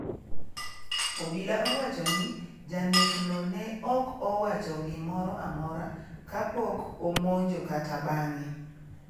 obila wacho ni janekno ne ok owacho gimoro amora kapok omonjo kata bang'e.